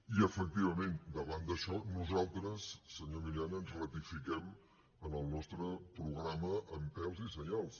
i efectivament davant d’això nosaltres senyor milián ens ratifiquem en el nostre programa amb pèls i senyals